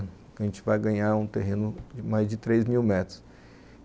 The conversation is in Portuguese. A gente vai ganhar um terreno de mais de três mil metros.